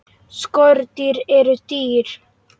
Skordýr eru dýr.